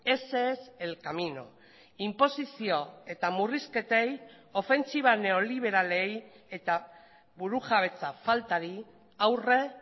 ese es el camino inposizio eta murrizketei ofentsiba neoliberalei eta burujabetza faltari aurre